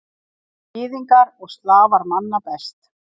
Gyðingar og Slafar manna best.